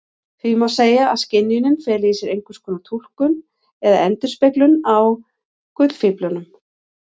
Því má segja að skynjunin feli í sér einskonar túlkun eða endurspeglun á gullfíflinum.